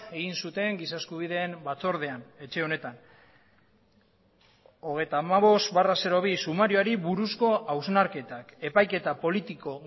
egin zuten giza eskubideen batzordean etxe honetan hogeita hamabost barra bi sumarioari buruzko hausnarketak epaiketa politiko